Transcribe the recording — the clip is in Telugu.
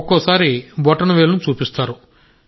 ఒక్కోసారి బొటనవేలును చూపిస్తారు